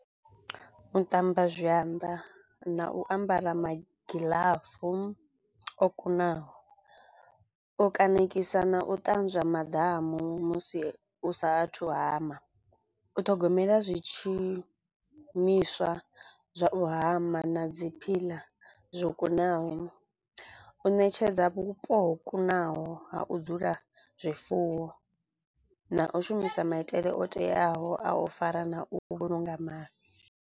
U ṱamba zwanḓa na u ambara magiḽafu o kunaho o kaṋekisa na u ṱanzwa maḓamu musi u sa athu u hama, u ṱhogomela zwi tshimiswa zwa u hama na dzi phiḽa zwo kunaho, u ṋetshedza vhupo ho kunaho ha u dzula zwifuwo na u shumisa maitele o teaho a u fara na u vhulunga maḓi.